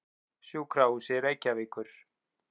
Sjúkrahúsi Reykjavíkur